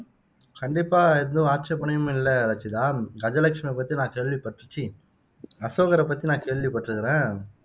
கண்டிப்பா ஏதும் ஆட்சேபனையும் இல்ல ரச்சிதா கஜலட்சுமி பத்தி நான் கேள்வி பட்டு ச்சி அசோகரை பத்தி நான் கேள்விபட்டுருக்குறேன்